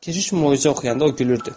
Keşiş möcüzə qıyanda o gülürdü.